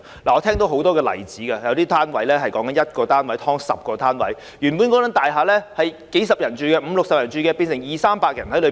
我聽到很多例子，有單位 "1 劏 10"， 原本只有五六十人居住的大廈，變成容納二三百人。